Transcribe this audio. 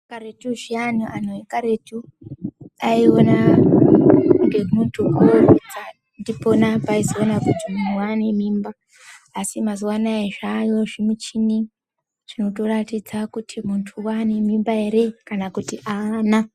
Karetu zviyani, anthu ekaretu aiona ngemunthu oorutsa ndipona peaizoona kuti munthu waane mimba. Asi mazuwa anaa zvaayo zvimichini zvinotoratidza kuti munthu waane mimba ere kana kuti aana.